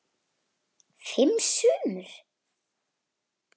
Fimm sumur